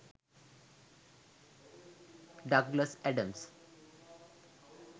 douglas adams